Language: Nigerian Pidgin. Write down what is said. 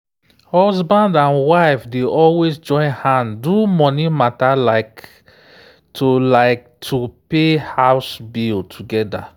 husband and wife dey always join hand do money mata like to like to pay house bill together.